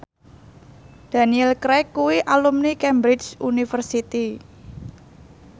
Daniel Craig kuwi alumni Cambridge University